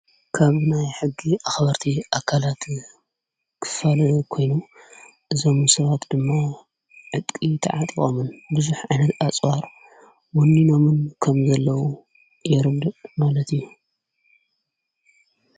ካብ ናይ ሕጊ ኣኽበርቲ ኣካላት ክፈል ኮይኑ እዘሙሰባት ድማ ዕጥቂ ተዓጥዋሙን ብዙኅ ዓይነት ኣፅዋር ውኒኖምን ከም ዘለዉ የርድእ ማለት እዩ::